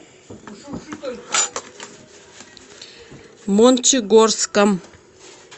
мончегорском